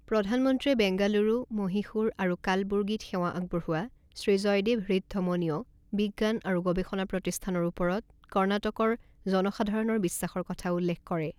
প্ৰধানমন্ত্ৰীয়ে বেংগালুৰু, মহীশূৰ আৰু কালবুৰ্গীত সেৱা আগবঢ়োৱা শ্ৰী জয়দেৱ হৃদধমনীয় বিজ্ঞান আৰু গৱেষণা প্ৰতিষ্ঠানৰ ওপৰত কৰ্ণাটকৰ জনসাধাৰণৰ বিশ্বাসৰ কথা উল্লেখ কৰে।